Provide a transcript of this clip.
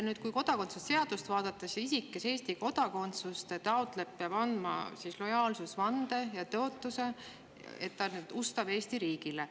Nüüd, kui kodakondsuse seadust vaadata, siis isik, kes Eesti kodakondsust taotleb, peab andma lojaalsusvande ja tõotuse, et ta on ustav Eesti riigile.